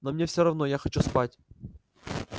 но мне всё равно я хочу спать